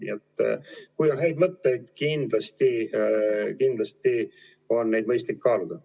Nii et kui on häid mõtteid, siis kindlasti on neid mõistlik kaaluda.